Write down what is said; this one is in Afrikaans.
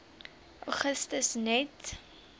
augustus net